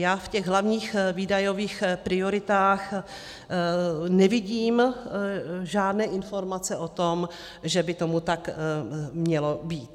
Já v těch hlavních výdajových prioritách nevidím žádné informace o tom, že by tomu tak mělo být.